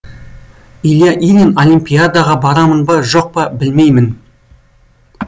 илья ильин олимпиадаға барамын ба жоқ па білмеймін